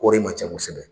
Kɔri man ca kosɛbɛ